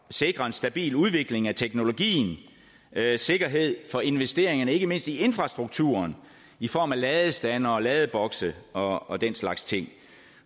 sikre en stabil udvikling af teknologien sikkerhed for investeringerne ikke mindst i infrastrukturen i form af ladestandere og ladebokse og og den slags ting